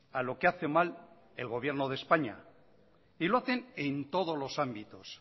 a lo que hace mal el gobierno de españa y lo hacen en todos los ámbitos